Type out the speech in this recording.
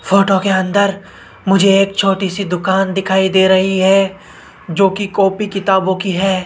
Photo के अंदर मुझे एक छोटी सी दुकान दिखाई दे रही है जोकि कॉपी किताबों की है।